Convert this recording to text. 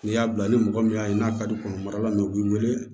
N'i y'a bila ni mɔgɔ min y'a ye n'a ka di kɔnɔmaya la mɛ u b'i wele